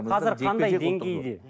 қазір қандай деңгейде